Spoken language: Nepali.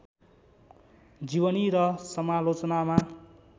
जीवनी र समालोचनामा